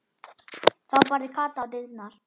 Þá barði Kata á dyrnar.